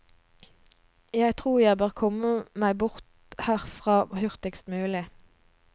Jeg tror jeg bør komme meg bort herfra hurtigst mulig.